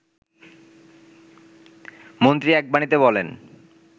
মন্ত্রী এক বাণীতে বলেন